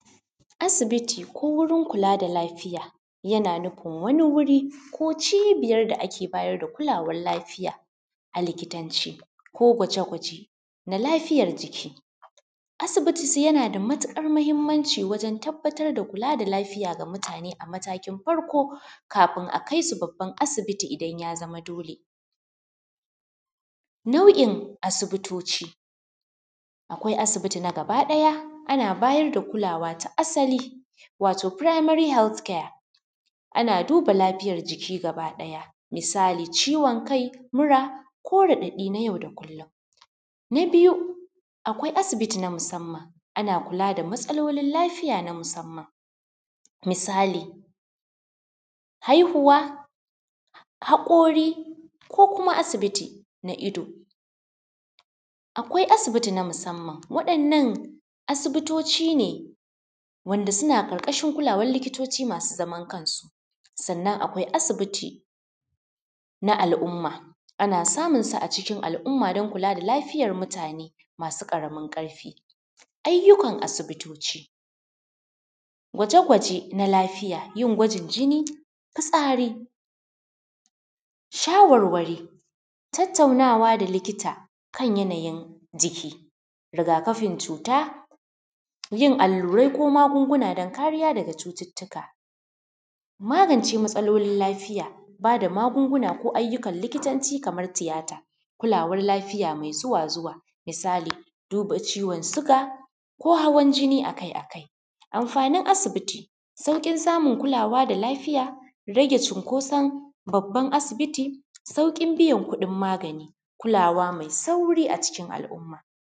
Asibiti ko wurin kula da lafiya yana nufin wani wuri ko cibiyar da ake bayar da kulawar lafiya alikitance ko gwaje-gwaje na lafiyar jiki, asibiti yana da matuƙar mahimmanci wajan tabbatar da kula da lafiya ga mutane a matakin farko kafin a kai su ga babban asibiti idan ya zama dole. Nau’in asibitoci, akwai asibiti na gabaɗaya, ana bayar da kulawa na asali wato primary healthcare, ana duba lafiyar jiki gabaɗaya misali ciwon kai, mura ko raɗaɗi na yau da kullum, na biyu akwai asibiti na musamman ana kula da matsalolin lafiya na musamman misali haihuwa haƙori ko kuma asibiti na ido. Akwai asibiti na musamman waɗannan asibitoci ne wanda suna ƙarƙashin kulawan likitoci masu zaman kansu, sannan akwai asibiti na al’umma ana samun su a cikin al’umma dan kula da lafiyar mutane masu ƙaramin ƙarfi. Ayyukan asibitoci, gwaje-gwaje na lafiya, yin gwajin jini, fitsari, shawarwari, tattaunawa da likita kan yanayin jiki, rigakafin cuta, yin allurai ko magunguna dan kariya daga cututtuka, magance matsalolin lafiya, ba da magunguna ko ayyukan likitoci kaman tiyata, kulawar lafiya mai zuwa-zuwa, misali duba ciwon suga ko hawan jini akai-akai. Amfanin asibiti, sauƙin samun kulawa da lafiya, rage cinkoson babban asibiti, sauƙin biyan kuɗin magani, kulawa mai sauri a cikin al’umma.